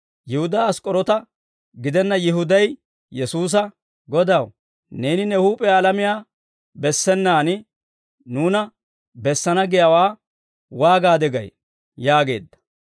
Yihudaa Ask'k'oroota gidenna Yihuday Yesuusa, «Godaw, neeni ne huup'iyaa alamiyaa bessenaan, nuuna bessana giyaawaa waagaade gay?» yaageedda.